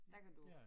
Der kan du